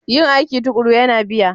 Yin aiki tuƙuru yana biya.